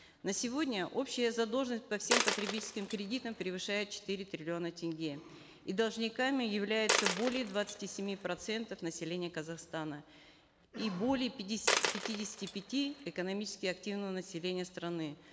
на сегодня общая задолженность по всем потребительским кредитам превышает четыре триллиона тенге и должниками являются более двадцати семи процентов населения казахстана и более пятидесяти пяти экономически активного населения страны